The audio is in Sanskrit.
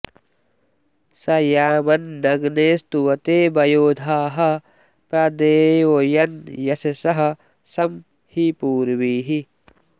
स यामन्नग्ने स्तुवते वयो धाः प्र देवयन्यशसः सं हि पूर्वीः